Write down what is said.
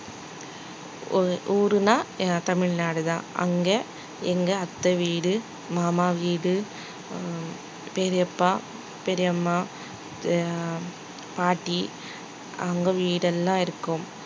ஊ~ ஊருன்னா எ~ தமிழ்நாடுதான் அங்க எங்க அத்தை வீடு மாமா வீடு ஹம் பெரியப்பா, பெரியம்மா அஹ் பாட்டி அவங்க வீடு எல்லாம் இருக்கும்